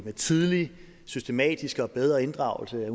med tydelig systematisk og bedre inddragelse af